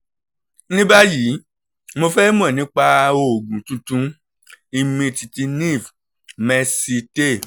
ní báyìí mo fẹ́ mọ̀ nípa oògùn tuntun imitinef mercilte